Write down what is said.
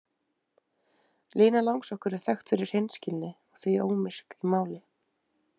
Lína langsokkur er þekkt fyrir hreinskilni og því ómyrk í máli.